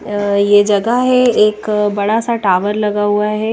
अ ये जगह है एक बड़ा सा टावर लगा हुआ है।